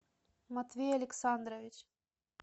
матвей александрович